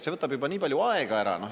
See võtab juba nii palju aega ära.